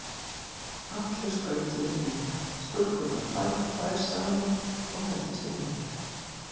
Allir skautuðu í hring, stúlkurnar tvær og tvær saman og héldust í hendur.